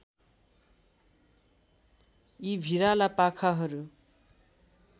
यी भिराला पाखाहरू